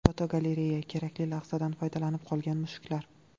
Fotogalereya: Kerakli lahzadan foydalanib qolgan mushuklar.